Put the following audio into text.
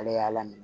Ala y'a lamɛn